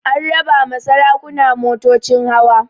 An raba ma sarakuna motocin hawa